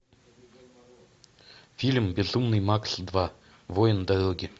фильм безумный макс два воин дороги